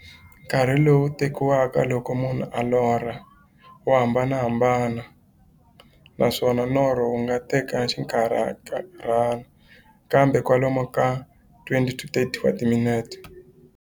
Nkarhi lowu tekiwaka loko munhu a lorha, wa hambanahambana, naswona norho wu nga teka xinkarhana, kumbe kwalomu ka 20-30 wa timinete.